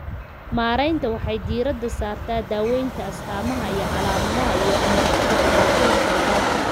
Maareynta waxay diiradda saartaa daaweynta astamaha iyo calaamadaha iyo ka hortagga dhibaatooyinka labaad.